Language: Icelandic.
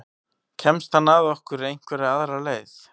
Kemst hann að okkur einhverja aðra leið?